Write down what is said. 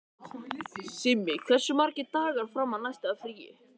Simmi, hversu margir dagar fram að næsta fríi?